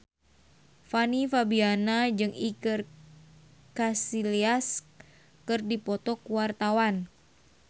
Fanny Fabriana jeung Iker Casillas keur dipoto ku wartawan